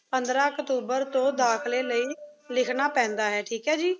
ਪੰਦਰਾਂ ਅਕਤੂਬਰ ਤੋਂ ਦਾਖ਼ਲੇ ਲਈ ਲਿਖਣਾ ਪੈਂਦਾ ਏ। ਠੀਕ ਹੈ ਜੀ।